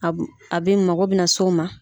A bɛ mako bɛ na so ma.